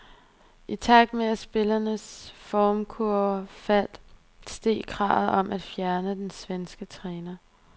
I takt med at spillernes formkurve faldt, steg kravet om at fjerne den svenske træner.